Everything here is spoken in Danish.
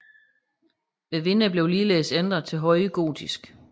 Vinduerne blev ligeledes ændret til høje gotiske